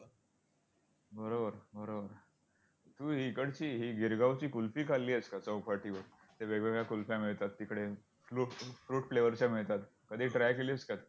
बरोबर बरोबर तू इकडची ही गिरगावची कुल्फी खाल्ली आहेस का चौपाटीवर? तिथे वेगवेगळ्या कुल्फ्या मिळतात, तिकडे fruit~fruit flavour च्या मिळतात. कधी try केली आहेस का?